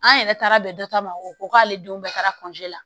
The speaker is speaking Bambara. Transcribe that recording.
An yɛrɛ taara bɛn dɔ ta ma o ko k'ale denw bɛɛ taara la